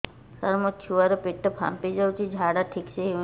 ସାର ମୋ ଛୁଆ ର ପେଟ ଫାମ୍ପି ଯାଉଛି ଝାଡା ଠିକ ସେ ହେଉନାହିଁ